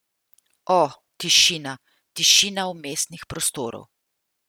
O tišina, tišina vmesnih prostorov.